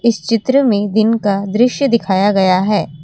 इस चित्र में दिन का दृश्य दिखाया गया है।